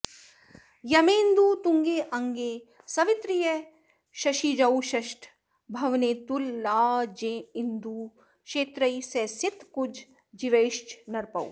यमेन्दू तुङ्गे अङ्गे सवितृ शशिजौ षष्ठ भवने तुलाजेन्दु क्षेत्रैः स सित कुज जीवैश्च नरपौ